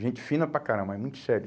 Gente fina para caramba, mas muito sério.